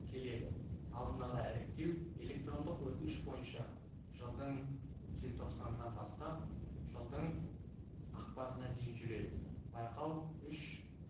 келеді алдын-ала іріктеу электрондық өтініш бойынша жылдың желтоқсанынан бастап жылдың ақпанына дейін жүреді байқау үш